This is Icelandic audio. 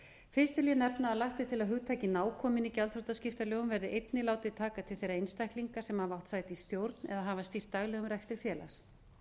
fyrst vil ég nefna að lagt er til að hugtakið nákominn í gjaldþrotaskiptalögum verði einnig látið taka til þeirra einstaklinga sem hafa átt sæti í stjórn eða hafa sinnt daglegum rekstri félags